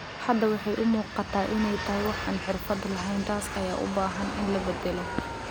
"Hadda waxay u muuqataa inay tahay waax aan xirfad lahayn, taas ayaa u baahan in la beddelo."